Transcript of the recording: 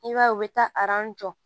I b'a ye u bɛ taa jɔ